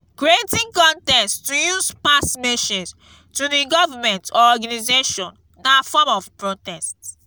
creating contest to use pass message to the government or organisation na form of protest